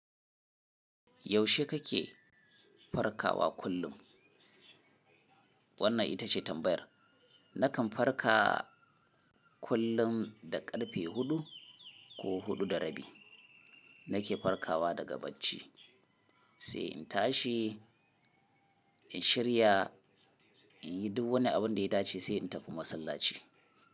Yaushe kake farkawa kullum? Wannan ita ce tambayar. Nakan farka kullum da ƙarfe huɗu ko huɗu da rabi. Nake farkawa daga bacci, sai in tashi, in shirya, in yi duk wani abin da ya dace sai in tafi masallaci.